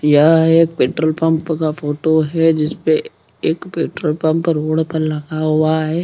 यहाँ एक petrol pump का फ़ोटो हैं जिस पे एक पेट्रोल पंप रोड पर लगा हुआ है।